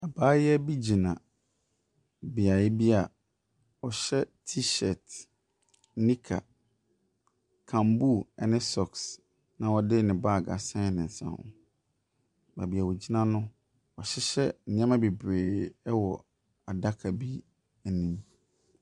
Abaayewa bi gyina beaeɛ bi a ɔhyɛ t-shirt, nika, camboo ne socks na ɔde ne baage asɛn ne nsa ho. Beebi a ogyina no, wɔahyehyɛ nneɛma bebree wɔ adaka bi mu.